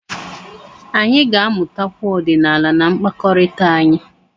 Anyị ga-amụtakwu ọdịnala na mkpakọrịta anyị.